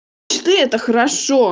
четыре это хорошо